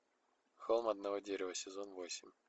холм одного дерева сезон восемь